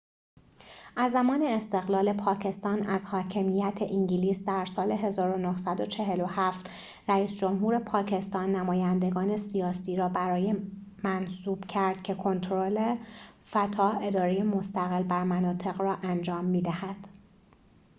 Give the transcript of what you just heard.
از زمان استقلال پاکستان از حاکمیت انگلیس در سال ۱۹۴۷ رئیس جمهور پاکستان نمایندگان سیاسی را برای اداره fata منصوب کرد که کنترل مستقل بر مناطق را انجام می‌دهد